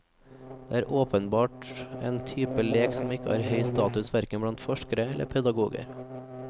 Det er åpenbart en type lek som ikke har høy status hverken blant forskere eller pedagoger.